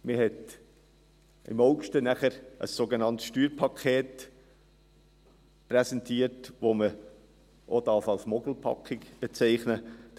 Im August hat man dann ein sogenanntes Steuerpaket präsentiert, das man auch als Mogelpackung bezeichnen darf.